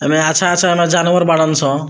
ऐमे अच्छा-अच्छा म जानवर बाड़न सं --